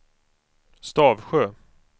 Stavsjö